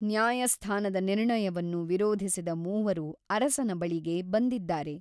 ನ್ಯಾಯಸ್ಥಾನದ ನಿರ್ಣಯವನ್ನು ವಿರೋಧಿಸಿದ ಮೂವರು ಅರಸನ ಬಳಿಗೆ ಬಂದಿದ್ದಾರೆ.